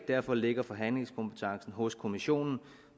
derfor ligger forhandlingskompetencen hos kommissionen